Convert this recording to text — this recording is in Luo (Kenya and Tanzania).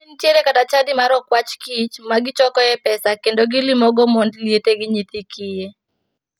Tinde nitiere kata chadi mar okwach kich ma gichokoe pesa kendo gilimogo mond liete gi nyithi kiye.